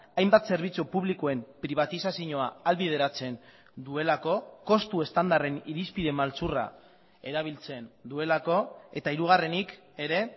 hainbat zerbitzu publikoen pribatizazioa ahalbideratzen duelako kostu estandarren irizpide maltzurra erabiltzen duelako eta hirugarrenik ere